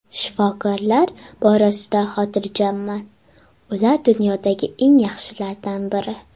Shifokorlar borasida xotirjamman, ular dunyodagi eng yaxshilardan biri.